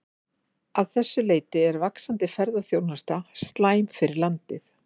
Að þessu leyti er vaxandi ferðaþjónusta slæm fyrir landið.